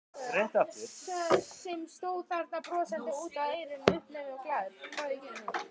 Sem stóð þarna brosandi út að eyrum, uppnæmur og glaður.